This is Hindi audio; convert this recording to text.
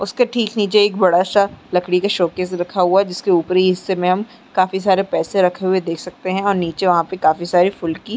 उसके ठीक नीचे एक बड़ा-सा लकड़ी का शोकेस रखा हुआ है जिसके ऊपरी हिस्से में हम काफी सारे पैसे रखे हुए देख सकते हैं और नीचे वहां पे काफी सारे फुल की--